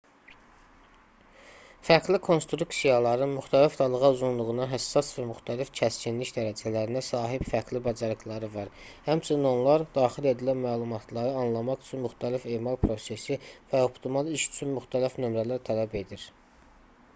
fərqli konstruksiyaların müxtəlif dalğa-uzunluğuna həssas və müxtəlif kəskinlik dərəcələrinə sahib fərqli bacarıqları var həmçinin onlar daxil edilən məlumatları anlamaq üçün müxtəlif emal prosesi və optimal iş üçün müxtəlif nömrələr tələb edir